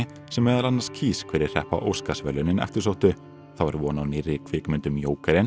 sem meðal annars kýs hverjir hreppa Óskarsverðlaunin eftirsóttu þá er von á nýrri kvikmynd um